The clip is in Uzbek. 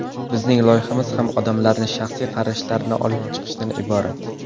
Bizning loyihamiz ham odamlarning shaxsiy qarashlarini olib chiqishdan iborat.